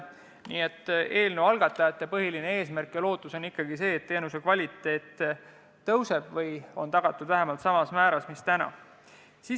Nii et eelnõu algatajate peamine eesmärk ja lootus on ikkagi see, et teenuse kvaliteet paraneb või on tagatud vähemalt samal määral, mis täna.